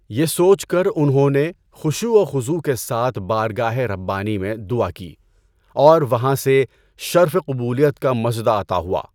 یہ سوچ کر انہوں نے خشوع و خضوع کے ساتھ بارگاہ ربانی میں دعا کی اور وہاں سے شرف قبولیت کا مژدہ عطا ہوا۔